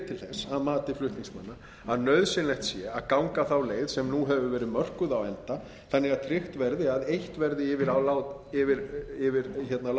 til þess að mati flutningsmanna að nauðsynlegt sé að ganga þá leið sem nú hefur verið mörkuð á enda þannig að tryggt verði að eitt verði látið yfir